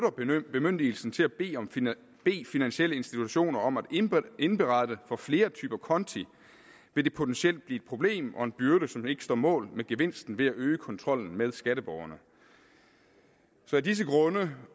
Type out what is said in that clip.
bemyndigelsen til at bede finansielle institutioner om at indberette for flere typer konti vil det potentielt blive et problem og en byrde som ikke står mål med gevinsten ved at øge kontrollen med skatteborgerne så af disse grunde